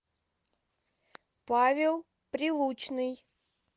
павел прилучный